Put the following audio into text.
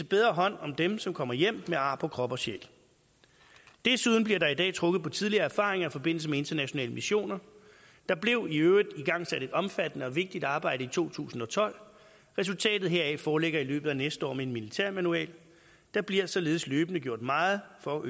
bedre hånd om dem som kommer hjem med ar på krop og sjæl desuden bliver der i dag trukket på tidligere erfaringer i forbindelse med internationale missioner der blev i øvrigt igangsat et omfattende og vigtigt arbejde i to tusind og tolv resultatet heraf foreligger i løbet af næste år med en militærmanual der bliver således løbende gjort meget for at